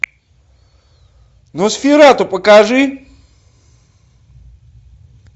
носферату покажи